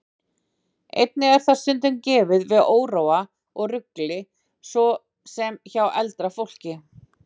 Einnig er það stundum gefið við óróa og rugli, svo sem hjá eldra fólki.